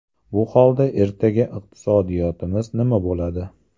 Bu holda ertaga iqtisodiyotimiz nima bo‘ladi?